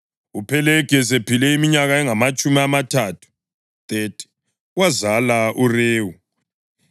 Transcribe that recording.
UPhelegi esephile iminyaka engamatshumi amathathu (30), wazala uRewu.